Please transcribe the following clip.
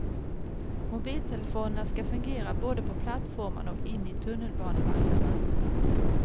Mobiltelefonerna skall fungera både på plattformarna och inne i tunnelbanevagnarna.